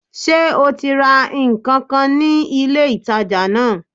Sé o ti ra nkan kan ní ilé ìtajà náà